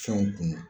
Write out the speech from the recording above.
Fɛnw kunu